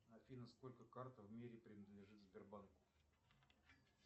афина сколько карт в мире принадлежит сбербанку